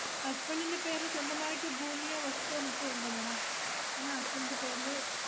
husband ഇൻ്റെ പേരില് സ്വന്തമായിട്ട് ഭൂമിയോ വസ്തുവോ മറ്റോ ഉണ്ടോ madam? എന്നാ husband ഇൻ്റെ പേരില്